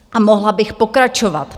A mohla bych pokračovat.